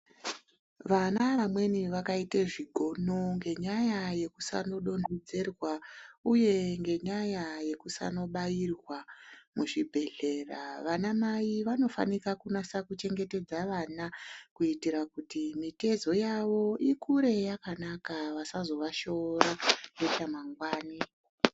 Vana vamweni vakaite zvigono ngenyaya yekusanodonhedzerwa uye ngenyaya yekusanobairwa muzvibhedhlera, vanamai vanofanika kunasa kuchengetedza vana kuitira kuti mitezo yavo ikure yakanaka vasazovashora nechamangwana.